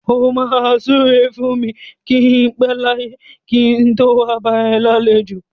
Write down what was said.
O máa súre fún mi kí n pẹ láyé kí n tó wá bá ọ lálejò.